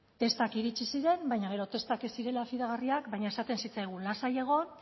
testak iritsi ziren baina gero testak ez zirela fidagarriak baina esaten zitzaigun lasai egon